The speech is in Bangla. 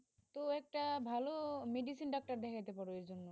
তো একটা ভালো medicine doctor দেখাইতে, পার এখন,